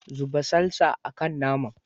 Zuba salsa a kan nama.